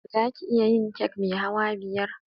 Zaki iya yi kek mai hawa biya?